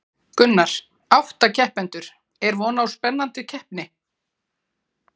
Gunnar: Átta keppendur, er vona á spennandi keppni?